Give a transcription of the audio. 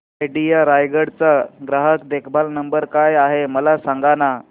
idea Raigad चा ग्राहक देखभाल नंबर काय आहे मला सांगाना